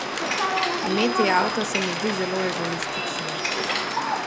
Imeti avto se mi zdi zelo egoistično.